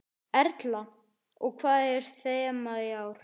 Erla: Og hvað er þemað í ár?